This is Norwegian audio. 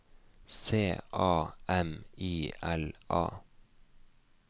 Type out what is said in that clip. C A M I L A